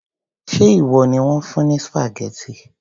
Ṣé ìwọ ni wón fún ní spaghetti?